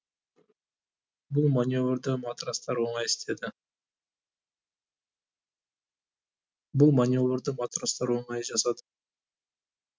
бұл маневрді матростар оңай істеді